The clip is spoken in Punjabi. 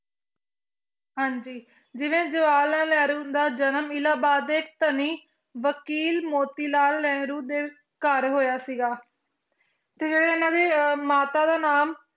ਹਾਂਜੀ ਜਿਵੇਂ ਜਵਾਹਰ ਲਾਲ ਨਹਿਰੂ ਦਾ ਜਨਮ ਇਲਾਹਾਬਾਦ ਦੇ ਧਨੀ ਵਕੀਲ ਮੋਤੀਲਾਲ ਨਹਿਰੂ ਦੇ ਘਰ ਹੋਇਆ ਸੀਗਾ ਤੇ ਇਹਨਾਂ ਦੇ ਮਾਤਾ ਦਾ ਨਾਮ